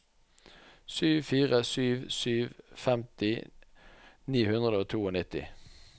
sju fire sju sju femti ni hundre og nittito